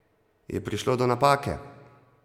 Je prišlo do napake?